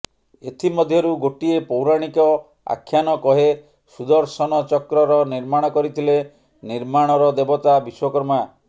ଏଥିମଧ୍ୟରୁ ଗୋଟିଏ ପୌରାଣିକ ଆଖ୍ୟାନ କହେ ସୁଦର୍ଶନ ଚକ୍ରର ନିର୍ମାଣ କରିଥିଲେ ନିର୍ମାଣର ଦେବତା ବିଶ୍ୱକର୍ମା